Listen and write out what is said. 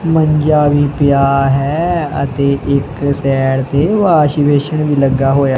ਮੰਜਾ ਵੀ ਪਿਆ ਹੈ ਅਤੇ ਇੱਕ ਸਾਈਡ ਤੇ ਵਾਸ਼ਵੇਸ਼ਨ ਵੀ ਲੱਗਾ ਹੋਇਆ ਹੈ।